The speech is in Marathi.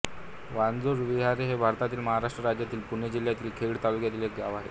वांजुळविहिरे हे भारताच्या महाराष्ट्र राज्यातील पुणे जिल्ह्यातील खेड तालुक्यातील एक गाव आहे